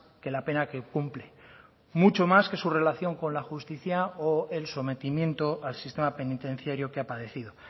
que la pena que cumple mucho más que su relación con la justicia o el sometimiento al sistema penitenciario que ha padecido